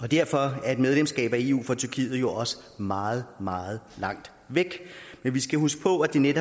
og derfor er et medlemskab af eu for tyrkiet jo også meget meget langt væk men vi skal huske på at det netop